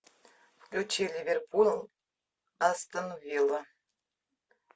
включи ливерпуль астон вилла